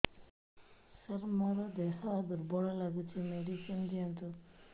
ସାର ମୋର ଦେହ ଦୁର୍ବଳ ଲାଗୁଚି ମେଡିସିନ ଦିଅନ୍ତୁ